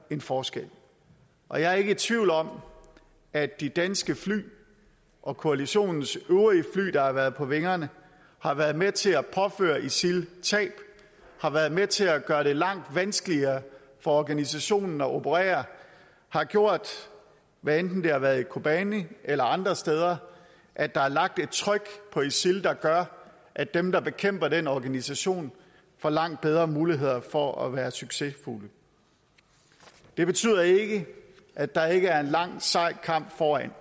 en forskel og jeg er ikke i tvivl om at de danske fly og koalitionens øvrige fly der har været på vingerne har været med til at påføre isil tab har været med til at gøre det langt vanskeligere for organisationen at operere har gjort hvad enten det har været i kobane eller andre steder at der er lagt et tryk på isil der gør at dem der bekæmper den organisation får langt bedre muligheder for at være succesfulde det betyder ikke at der ikke er en lang og sej kamp foran